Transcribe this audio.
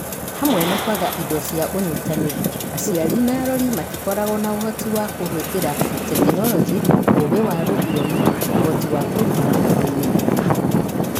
Hamwe na kwaga indo na ũnyitanĩri, aciari na arori matikoragwo na ũhoti wa kũhũthĩra Tekinoronjĩ, ũgĩ wa rũthiomi, ũhoti wa kũrutana, ũmĩrĩru.